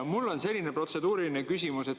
Mul on selline protseduuriline küsimus.